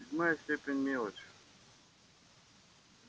седьмая степень мелочь